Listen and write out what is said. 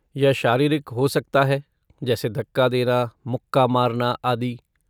यह शारीरिक हो सकता है जैसे धक्का देना, मुक्का मारना आदि।